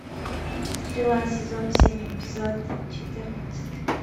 стрела сезон семь эпизод четырнадцать